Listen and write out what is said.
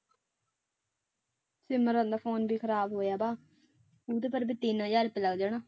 ਸਿਮਰਨ ਦਾ phone ਵੀ ਖ਼ਰਾਬ ਹੋਇਆ ਵਾ ਉਹਦੇ ਪਰ ਉਹਦੇ ਤਿੰਨ ਹਜ਼ਾਰ ਰੁਪਇਆ ਲੱਗ ਜਾਣਾ।